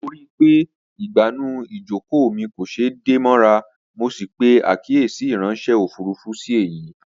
Mo ríi pé ìgbànú ìjókòó mi kò ṣeé dè mọ́ra, mo sì pè àkíyèsí ìráńṣẹ́ òfurufú sí èyìí